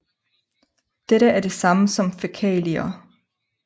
Dette er det samme som fækalier